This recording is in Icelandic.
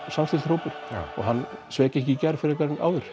samstilltur hópur og sveik ekki frekar en áður